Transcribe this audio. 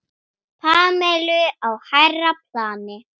Pamelu á hærra plani.